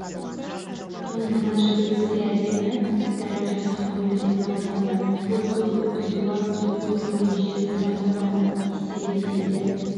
түу мына жігіт өте әдемі әрі жұмсақ қонды деп тамсанды ол құлдилап келіп құйрығымен жер сыза қонған истеребительді